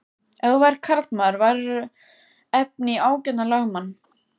Ef þú værir karlmaður værirðu efni í ágætan lögmann.